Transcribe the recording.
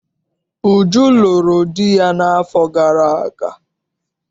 Uju lụrụ di n'afọ gara aga.